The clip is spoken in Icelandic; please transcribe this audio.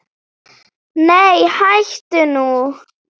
Nei hættu nú!